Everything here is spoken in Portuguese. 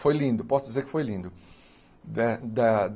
Foi lindo, posso dizer que foi lindo. Da da